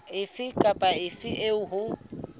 efe kapa efe eo ho